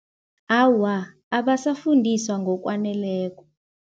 Awa, abasafundiswa ngokwaneleko.